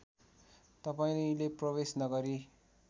तपाईँले प्रवेश नगरी